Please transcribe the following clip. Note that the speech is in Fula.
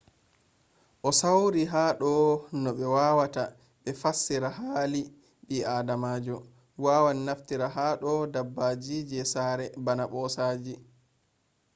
o sawri no ha do no ɓe wawata be fassira hali ɓi adamajo wawan naftira ha do dabbaji je saare bana ɓosaji